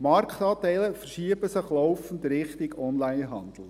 Marktanteile verschieben sich laufend Richtung Onlinehandel.